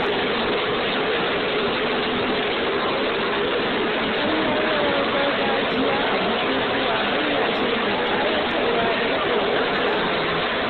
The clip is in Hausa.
Kallon rawar gargajiya a bukukuwa hanya ce mai ƙayatarwa dan koyon al'adu.